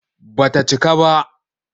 Ba ta cika ba.